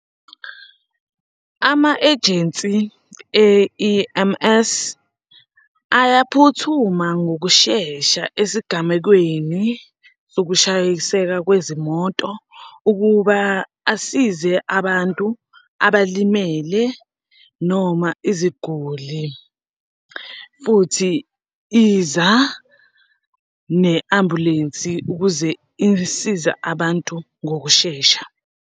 Ama-ejensi e-E_M_S, ayaphuthuma ngokushesha esigamekweni sokushayiseka kwezimoto ukuba asize abantu abalimele noma iziguli, futhi iza ne-ambulensi ukuze isize abantu ngokushesha.